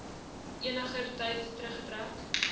eniger tyd teruggetrek